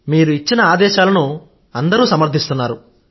మీరు ఇచ్చిన ఆదేశాలను అందరూ సమర్థిస్తున్నారు